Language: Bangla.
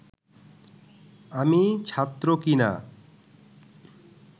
আমি ছাত্র কি না